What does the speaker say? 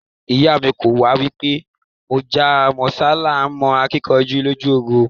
Iya mi ko wa pe Mojá mósá laa n mo akinkanju loju ogun